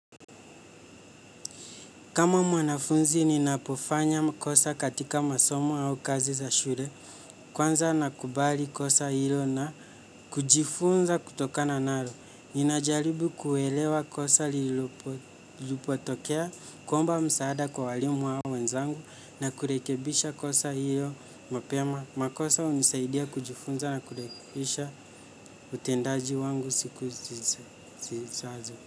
Kama mwanafunzi ninapofanya makosa katika masomo au kazi za shure. Kwanza nakubali kosa hilo na kujifunza kutokana nalo. Ninajaribu kuelewa kosa lilipo tokea, kuomba msaada kwa walimu au wenzangu na kurekebisha kosa hilo mapema. Makosa unisaidia kujifunza na kurekisha utendaji wangu siku zizazo.